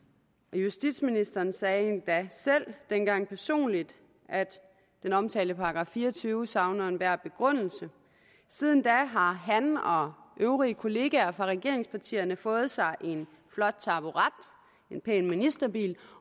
og justitsministeren sagde endda selv dengang personligt at den omtalte § fire og tyve savner enhver begrundelse siden da har han og øvrige kollegaer fra regeringspartierne fået sig en flot taburet en pæn ministerbil